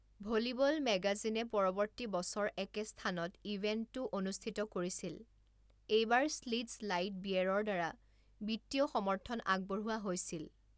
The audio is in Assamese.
ভলিবল মেগাজিনে পৰৱৰ্তী বছৰ একে স্থানত ইভেণ্টটো অনুষ্ঠিত কৰিছিল, এইবাৰ শ্লিটজ লাইট বিয়েৰৰ দ্বাৰা বিত্তীয় সমৰ্থন আগবঢ়োৱা হৈছিল।